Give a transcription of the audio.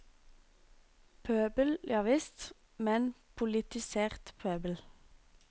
Pøbel, javisst, men politisert pøbel.